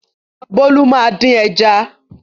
Bólú máa dín ẹja.